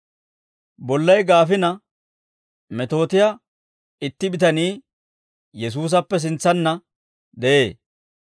Bollay gaafina metootiyaa itti bitanii Yesuusappe sintsanna de'ee.